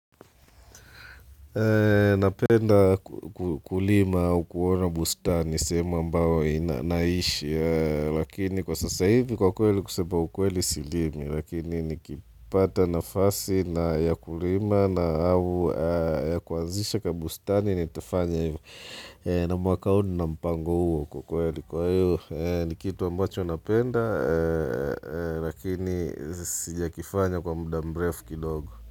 Napenda kulima au kuona bustani sehemu ambayo nina naishi Lakini kwa sasa hivi kwa kweli kusema ukweli silimi Lakini nikipata nafasi na ya kulima na au ya kuanzisha kabustani Nitafanya hivyo na mwaka huu nina mpango huo kwa kweli Kwa hivyo ni kitu ambacho napenda lakini sijakifanya kwa mda mrefu kidogo.